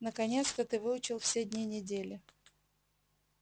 наконец-то ты выучил все дни недели